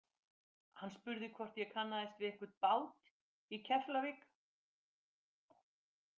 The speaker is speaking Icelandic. Hann spurði hvort ég kannaðist við einhvern bát í Keflavík.